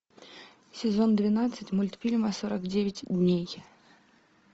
сезон двенадцать мультфильма сорок девять дней